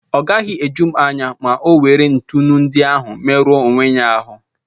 Ọ gaghị eju m anya ma ọ nwere ntụnụ ndi ahụ merụọ onwe ya ahụ́.